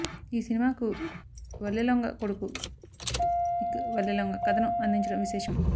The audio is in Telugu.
ఈ సినిమాకు వల్లెలొంగ కొడుకు నిక్ వల్లెలొంగ కథను అందించడం విశేషం